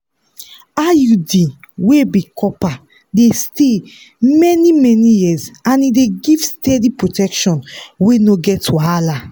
iud wey be copper dey stay many-many years and e dey give steady protection wey no get wahala.